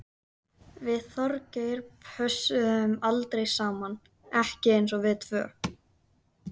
Við Þorgeir pössuðum aldrei saman, ekki eins og við tvö.